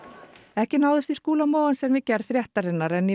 ekki náðist í Skúla Mogensen við gerð fréttarinnar en í